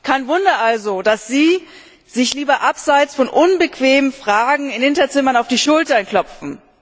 Kein Wunder also, dass Sie sich lieber abseits von unbequemen Fragen in Hinterzimmern auf die Schulter klopfen.